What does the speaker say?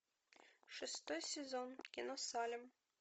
шестой сезон кино салем